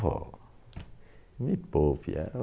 Vó, me poupe é